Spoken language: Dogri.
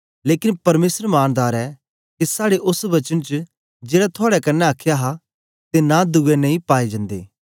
लेकन परमेसर मानदार ऐ के साड़े ओस वचन च जेड़ा थुआड़े कन्ने आखया आं ते नां दुए नेई पाए जंदे